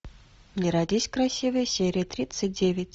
не родись красивой серия тридцать девять